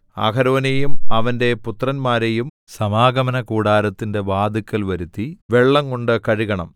അഹരോനെയും അവന്റെ പുത്രന്മാരെയും സമാഗമനകൂടാരത്തിന്റെ വാതിൽക്കൽ വരുത്തി വെള്ളംകൊണ്ട് കഴുകണം